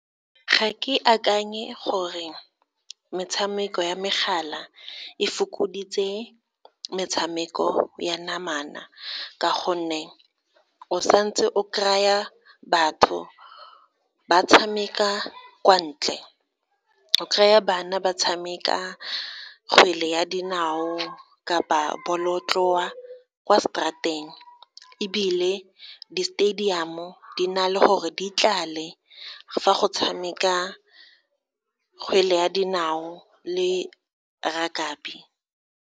Ga ke akanye gore metshameko ya megala e fokoditse metshameko ya namana ka gonne, o santse o kry-a batho ba tshameka kwa ntle, o kry-a bana ba tshameka kgwele ya dinao kapa bolotloa kwa straat-eng, ebile di-stadium-o di na le gore di tlale fa go tshameka kgwele ya dinao le rakabi.